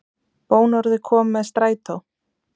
Bónorðið kom með strætó